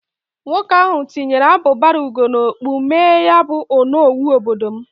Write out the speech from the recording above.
Nwoke ahụ tụnyere abubara ugo n'okpu mmee ya bụ onowu obodo m